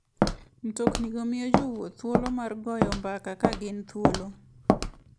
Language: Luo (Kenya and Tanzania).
Mtoknigo miyo jowuoth thuolo mar goyo mbaka ka gin thuolo.